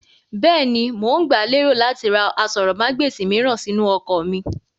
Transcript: Bẹ́ẹ̀ni, mo ń gba lérò láti ra aṣórómagbesìn mìíràn sínú ọkọ̀ mí.